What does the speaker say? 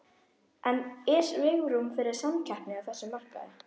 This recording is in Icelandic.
En er svigrúm fyrir samkeppni á þessum markaði?